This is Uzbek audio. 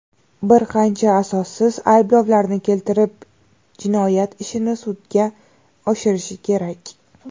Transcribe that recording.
bir qancha asossiz ayblovlarni keltirib jinoyat ishini sudga oshirishi kerak?.